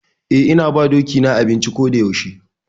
Eh, ina ba doki na abinci ko da yaushe.